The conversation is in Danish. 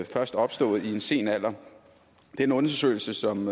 først opstået i en sen alder den undersøgelse som